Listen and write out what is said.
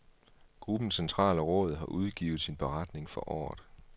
Gruppens centrale råd har udgivet sin beretning for året.